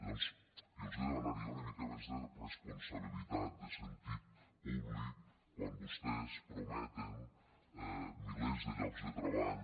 llavors jo els demanaria una mica més de responsabilitat de sentit públic quan vostès prometen milers de llocs de treball